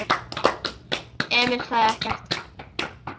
Emil sagði ekkert.